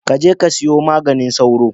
Ka je ka siyo maganin sauro.